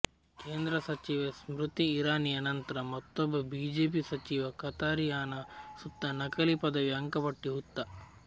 ಕೇಂದ್ರ ಸಚಿವೆ ಸ್ಮೃತಿ ಇರಾನಿಯ ನಂತ್ರ ಮತ್ತೊಬ್ಬ ಬಿಜೆಪಿ ಸಚಿವ ಕಥಾರಿಯಾನ ಸುತ್ತ ನಕಲಿ ಪದವಿ ಅಂಕಪಟ್ಟಿ ಹುತ್ತ